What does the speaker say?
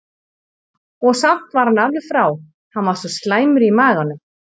Og samt var hann alveg frá, hann var svo slæmur í maganum.